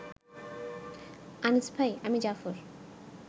আনিস ভাই, আমি জাফর